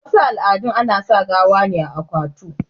wasu al'adun ana sa gawa ne a akwatu